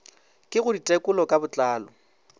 ke go ditekolo ka botlalo